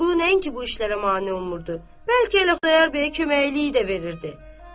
Vəliqulu nəinki bu işlərə mane olmurdu, bəlkə elə Xudayar bəyə köməkliyi də verirdi.